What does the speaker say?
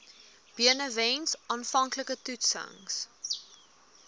benewens aanvanklike toetsings